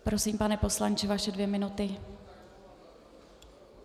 Prosím, pane poslanče, vaše dvě minuty.